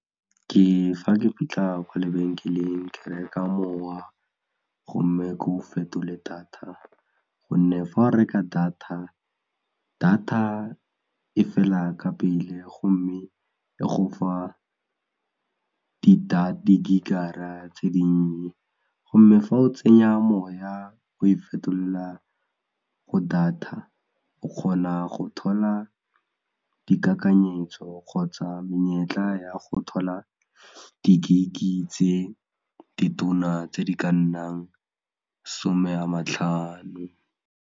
Ke fa ke fitlha kwa lebenkeleng ke reka mowa gomme ko fetole data gonne fa o reka data, data e fela ka pele gomme e go fa ke di-gig-ra tse dinnye gomme fa o tsenya moya o e fetolela ko data o kgona go thola dikakanyesetso kgotsa menyetla ya go thola di-gig-i tse di tona tse di ka nnang 'some a ma tlhano.